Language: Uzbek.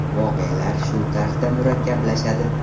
Voqealar shu tarzda murakkablashadi.